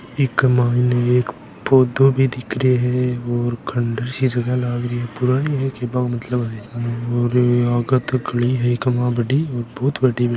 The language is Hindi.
इक मायने एक पौधो भी दिख रहियो है और खंडर सी जगहा लाग रही है पुरानी है के केबा को मतलब अरे आगे तक गली है इक मायने बड़ी और बहुत बड़ी है।